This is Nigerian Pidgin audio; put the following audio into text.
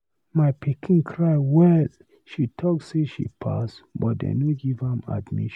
My pikin cry well, she talk say she pass but they no give am admission.